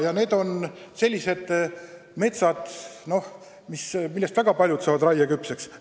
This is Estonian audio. Ja need on sellised metsad, millest väga paljud saavad peagi raieküpseks.